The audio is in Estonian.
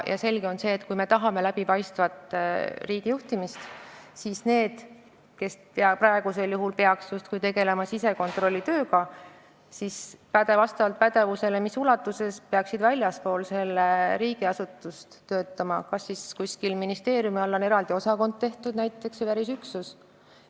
Selge on see, et kui me tahame läbipaistvat riigijuhtimist, siis need, kes peaksid justkui tegelema sisekontrollitööga, peaksid vastavalt pädevusastmele töötama väljaspool riigiasutust, näiteks kuskil ministeeriumi eraldi osakonnas või mõnes väljaspool asuvas üksuses.